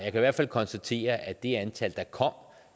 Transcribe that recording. i hvert fald konstatere at det antal der kom